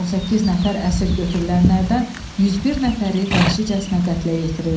118 nəfər əsir götürülənlərdən 101 nəfəri vəhşicəsinə qətlə yetirildi.